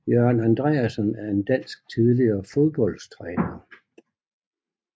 Jørgen Andreasen er en dansk tidligere fodboldstræner